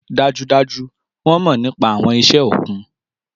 Dájúdájú! Wọn mọ nipa awọn iṣẹ okun.